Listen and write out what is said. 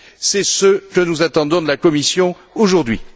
C'est ce que nous attendons de la Commission aujourd'hui.